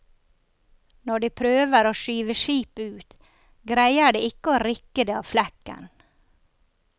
Når de prøver å skyve skipet ut, greier de ikke å rikke det av flekken.